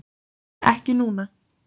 Ekki núna